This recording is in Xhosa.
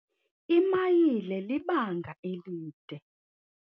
Imayile libanga elide.